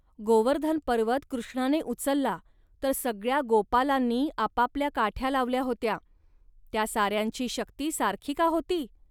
गोवर्धन पर्वत कृष्णाने उचलला, तर सगळ्या गोपालांनी आपापल्या काठ्या लावल्या होत्या. या साऱ्यांची शक्ती सारखी का होती